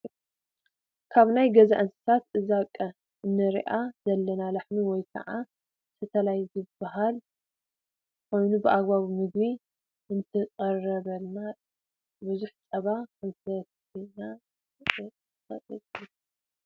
ካብ ናይ ገዛ እንሳሳት እዛቀ እነረኣ ዘለና ላሕሚ ወይ ከኣ ስታላ ትበሃል ኮይና ብኣገባቡ ምግቢ እንተቅሪብና ብዙሕ ፀባ ክትበና ትክእል እያ።